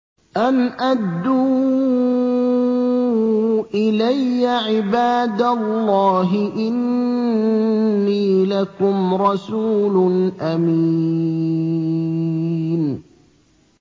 أَنْ أَدُّوا إِلَيَّ عِبَادَ اللَّهِ ۖ إِنِّي لَكُمْ رَسُولٌ أَمِينٌ